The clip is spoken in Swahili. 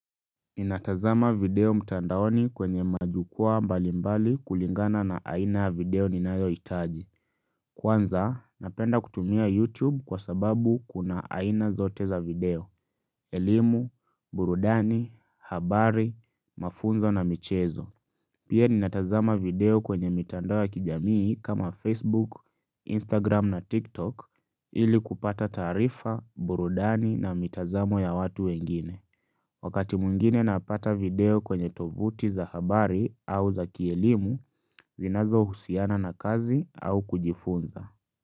Ninatazama video mtandaoni kwenye majukwaa mbali mbali kulingana na aina ya video ninayohitaji. Kwanza, napenda kutumia YouTube kwa sababu kuna aina zote za video. Elimu, burudani, habari, mafunzo na michezo. Pia ninatazama video kwenye mitandao ya kijamii kama Facebook, Instagram na TikTok ili kupata taarifa, burudani na mitazamo ya watu wengine. Wakati mwingine napata video kwenye tovuti za habari au za kielimu zinazo husiana na kazi au kujifunza.